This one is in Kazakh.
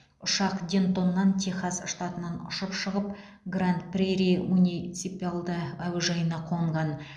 ұшақ дентоннан техас штатынан ұшып шығып гранд прейри муниципалды әуежайына қонған